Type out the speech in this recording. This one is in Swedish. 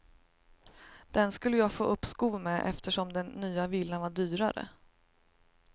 Den skulle jag få uppskov med eftersom den nya villan var dyrare.